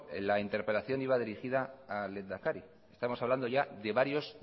la interpelación iba dirigida al lehendakari estamos hablando ya de varios